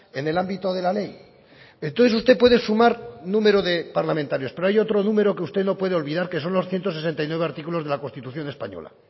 en el ámbito de la ley entonces usted puede sumar número de parlamentarios pero hay otro número que usted no puede olvidar que son los ciento sesenta y nueve artículos de la constitución española